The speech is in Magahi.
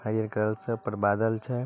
हरियर कलर छै ऊपर बादल छै।